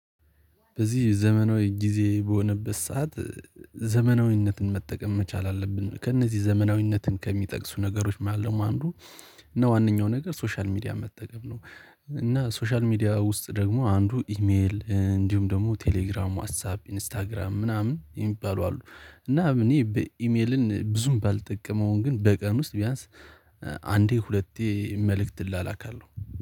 በዚህ ዘመናዊ ጊዜ በሆነበት ሰዓት ዘመናዊነትን መጠቀም መቻል አለብን። ከእነዚህ ዘመናዊነትን ከሚጠቅሱ ነገሮች ማለት ነው። አንዱ እና ዋናው ነገር ሶሻል ሚዲያ መጠቀም ነው። እና ሶሻል ሚዲያ ውስጥ ደግሞ አንዱ ኢሜል እንዲሁም ደግሞ ቴሌግራም ዋትሳፕ ኢንስታግራም ምናምን የሚባሉ አሉ። እና እኔ በኢሜልን ብዙም ባልጠቀመውን ግን በቀን ውስጥ ቢያንስ አንዴ ሁለቴ መልእክት እላላካለሁ